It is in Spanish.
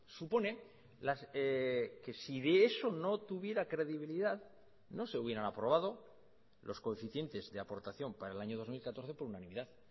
supone que si de eso no tuviera credibilidad no se hubieran aprobado los coeficientes de aportación para el año dos mil catorce por unanimidad